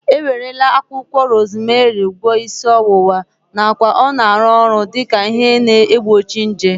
E werela akwụkwọ rozmerị gwọọ isi ọwụwa nakwa ọ na-arụ ọrụ dike ihe na-egbochi nje